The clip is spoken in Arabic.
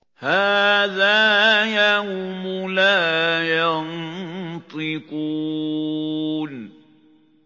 هَٰذَا يَوْمُ لَا يَنطِقُونَ